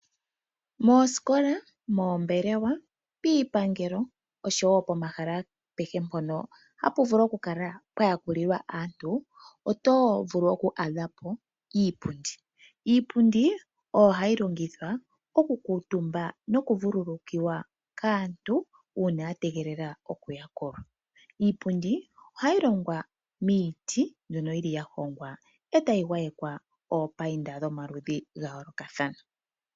Moosikola, moombelewa, piipangelo oshowoo pomahala agehe ngoka haga vulu okuyakulilwa aantu oto vulu oku adhapo iipundi. Iipundi oyo hayi longithwa okukuutumbwa nokuvululukiwa kaantu uuna yategelela okuyakulwa. Ohayi longwa miiti nohayi mbambekwa omalwaala gayooloka.